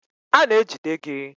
A na-ejide gị.